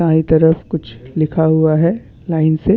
दाएं तरफ कुछ लिखा हुआ है लाइन से--